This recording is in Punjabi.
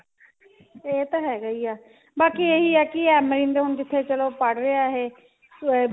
ਇਹ ਤਾਂ ਹੈਗਾ ਈ ਏ ਬਾਕੀ ਇਹੀ ਹੈ ਕਿ amreen zone ਜਿੱਥੇ ਚਲੋ ਪੜ੍ਹ ਰਿਹਾ ਇਹ ah